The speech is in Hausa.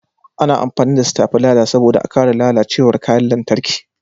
A na amfani da stabileza saboda a kare lalacewar kayan lantarki